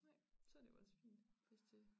Nej så dte jo også fint hvis det